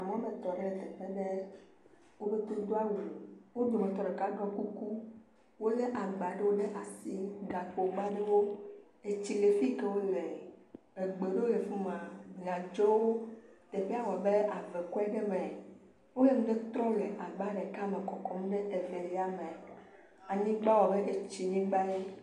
Amewo tɔ ɖe teƒe aɖe, wo katã wo do awu, wo dometɔ ɖeka ɖɔ kuku, wolé aŋgba ɖe asi, gakpogba aɖewo, etsi le fike wole, egbele afi ma bladzowo, teƒea wɔ abe ave kɔe aɖe me, wole ŋɖe trɔm le agba ɖeka me le kɔkɔm ɖe Evelia me, teƒea wɔ abe etsi nyigba ene.